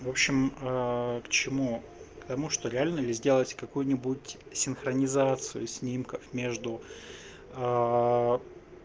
в общем к чему потому что реально ли сделать какую-нибудь синхронизацию снимков между